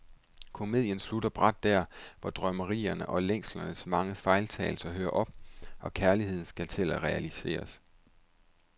Komedien slutter brat der, hvor drømmerierne og længslernes mange fejltagelser hører op, og kærligheden skal til at realiseres.